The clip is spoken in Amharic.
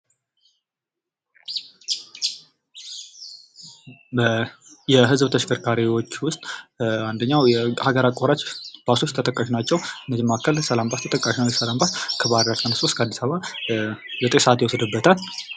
የህዝብ ተሽከርካሪዎች ዉስጥ አንደኛዉ የሀገር አቋራጭ ባሶች ተጠቃሽ ናቸዉ። ከእነዚህ መካከል ሰላም ባስ ተጠቃሽ ናቸዉ። ሰላም ባስ ከባህርዳር ተነስቶ እስከ አዲስ አበባ ዘጠኝ ሰዓት ይወስድበታል።